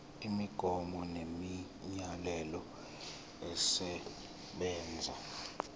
imigomo nemiyalelo esebenza